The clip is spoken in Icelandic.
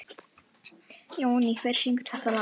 Jóný, hver syngur þetta lag?